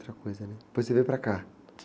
Outra coisa, né?epois você veio para cá?